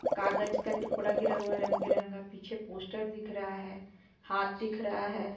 कागज का टुकड़ा गिरा हुआ है रंग बिरंगा पीछे पोस्टर दिख रहा है हाथ दिख रहा है।